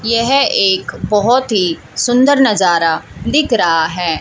यह एक बहोत ही सुंदर नजारा दिख रहा है।